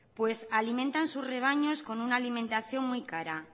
pues alimentan sus rebaños con una alimentación muy cara